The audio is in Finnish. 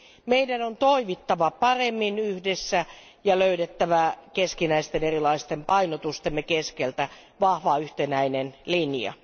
Meidän on toimittava paremmin yhdessä ja löydettävä keskinäisten erilaisten painotustemme keskeltä vahva yhtenäinen linja.